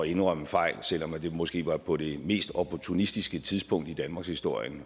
indrømme fejl selv om det måske var på det mest opportunistiske tidspunkt i danmarkshistorien